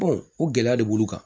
o gɛlɛya de b'ulu kan